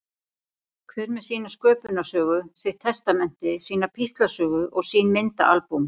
Hver með sína sköpunarsögu, sitt testamenti, sína píslarsögu og sín myndaalbúm.